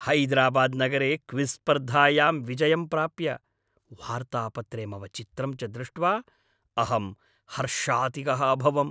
हैदराबाद् नगरे क्विज़् स्पर्धायां विजयं प्राप्य, वार्तापत्रे मम चित्रं च दृष्ट्वा अहं हर्षातिगः अभवम्।